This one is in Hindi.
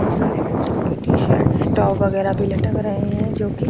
बहुत सारे बच्चों के टी-शर्ट्स टॉप वगैरा लटक रहे हैं जो कि --